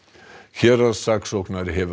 héraðssaksóknari hefur